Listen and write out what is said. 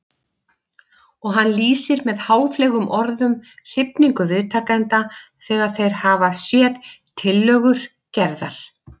Og hann lýsir með háfleygum orðum hrifningu viðtakenda þegar þeir hafa séð tillögur Gerðar.